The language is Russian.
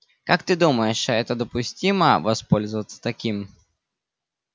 как ты думаешь это допустимо воспользоваться таким